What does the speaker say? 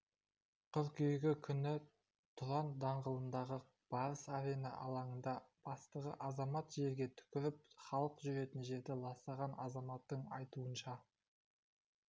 қыркүйегі күні тұран даңғылындағы барыс-арена алаңында жастағы азамат жерге түкіріп халық жүретін жерді ластаған азаматтың айтуынша